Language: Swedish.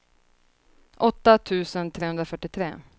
åtta tusen trehundrafyrtiotre